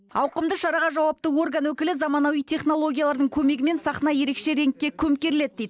ауқымды шараға жауапты орган өкілі заманауи технологиялардың көмегімен сахна ерекше реңкке көмкеріледі дейді